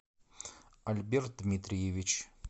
альберт дмитриевич